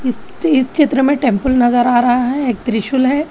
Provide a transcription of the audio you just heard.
इस इस चित्र में टेंपल नजर आ रहा है एक त्रिशूल है।